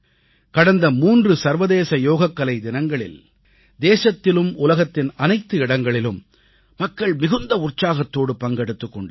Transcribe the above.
கடந்த 3 சர்வதேச யோகக்கலை தினங்களில் தேசத்திலும் உலகத்தின் அனைத்து இடங்களிலும் மக்கள் மிகுந்த உற்சாகத்தோடு பங்கெடுத்துக் கொண்டார்கள்